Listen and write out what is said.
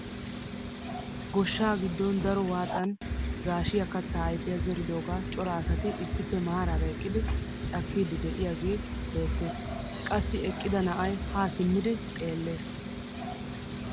Goshshaa giddon daro waxan gaashshiyaa kattaa ayfiyaa zeridogaa cora asati issippe maarara eqqidi cakkiidi de'iyaagee beettes. qassi eqqida na'ay haa simmdi xeellees.